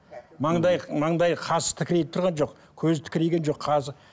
маңдайы маңдайы қасы тікірейіп тұрған жоқ көзі тікірейген жоқ қасы